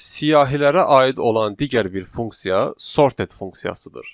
Siyahilərə aid olan digər bir funksiya sorted funksiyasıdır.